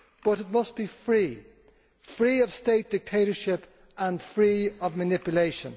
But it must be free of state dictatorship and free of manipulation.